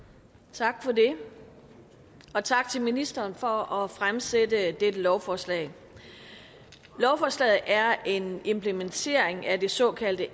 tak for det og tak til ministeren for at fremsætte dette lovforslag lovforslaget er en implementering af det såkaldte